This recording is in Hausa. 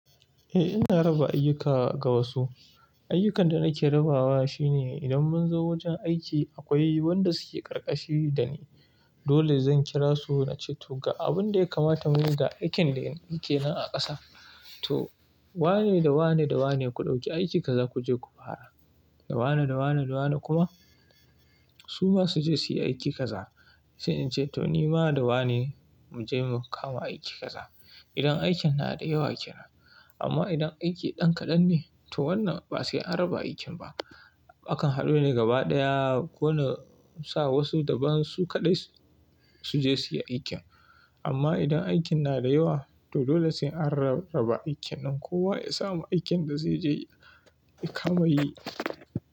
Eh ina raba ayyuka ga wasu. Ayyukan da nake rabawa shine idan mun zo wajen aiki akwai wanda suke ƙarƙashi da ni, dole zan kira su na ce to ga abun da ya kamata mu yi da aikin da yake nan a ƙasa. To wane da wane da wane ku ɗauki aiki kaza ku je ku fara. Da wane da wane da wane kuma su masu je su yi aiki kaza. Sai in ce to ni bana da wane mu je mu kama aiki kaza. Idan aikin na da yawa ke nan. Amma idan aiki ɗan kaɗan ne, to wannan ba sai an raba aikin ba. Akan haɗu ne gaba ɗaya ko na sa wasu daban su kaɗai su je su yi aikin. Amma idan aikin na da yawa to dole sai an raba aikin nan kowa ya samu aikin da zai je ya kama yi.